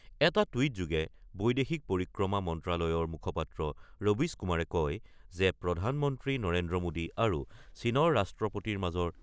এটা টুইটযোগে বৈদেশিক পৰিক্ৰমা মন্ত্ৰালয়ৰ মুখপাত্ৰ ৰবীশ কুমাৰে কয় যে প্ৰধানমন্ত্ৰী নৰেন্দ্ৰ মোদী আৰু চীনৰ